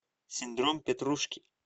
синдром петрушки